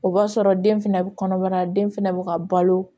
O b'a sɔrɔ den fɛnɛ bɛ kɔnɔbara den fana bɛ ka balo